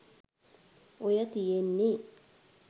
ඔය තියෙන්නෙ